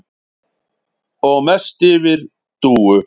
Og mest yfir Dúu.